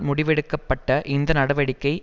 முடிவெடுக்கப்பட்ட இந்த நடவடிக்கை